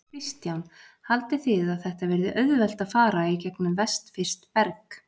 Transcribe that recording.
Kristján: Haldið þið að þetta verði auðvelt að fara í gegnum vestfirskt berg?